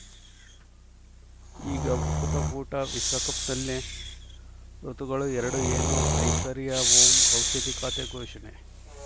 ಈಗ ಉಕುತ ಊಟ ವಿಶ್ವಕಪ್‌ದಲ್ಲಿ ಋತುಗಳು ಎರಡು ಏನು ಐಶ್ವರ್ಯಾ ಓಂ ಔಷಧಿ ಖಾತೆ ಘೋಷಣೆ